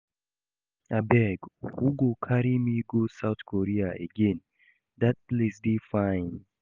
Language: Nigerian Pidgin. Abeg who go carry me go South Korea again? Dat place dey fine.